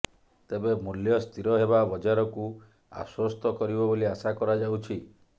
ତେବେ ମୂଲ୍ୟ ସ୍ଥିର ହେବା ବଜାରକୁ ଆଶ୍ୱସ୍ତ କରିବ ବୋଲି ଆଶା କରାଯାଉଛି